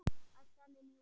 æpti hann inn í húsið.